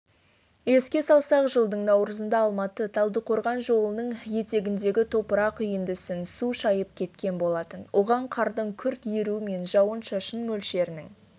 еске салсақ жылдың наурызында алматы талдықорған жолының етегіндегі топырақ үйіндісін су шайып кеткен болатын оған қардың күрт еруі мен жауын-шашын мөлшерінің